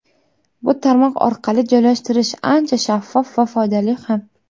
Bu tarmoq orqali joylashtirish ancha shaffof va foydali ham.